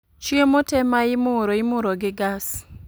Chiemo te ma imuro imuro gi gas